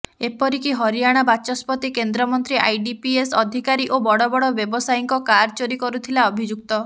ଏପରିକି ହରିୟଶଣା ବାଚସ୍ପତି କେନ୍ଦ୍ରମନ୍ତ୍ରୀ ଆଇଡିପିଏସ୍ ଅଧିକାରୀ ଓ ବଡ଼ ବଡ଼ ବ୍ୟବସାୟୀଙ୍କ କାର ଚୋରି କରୁଥିଲା ଅଭିଯୁକ୍ତ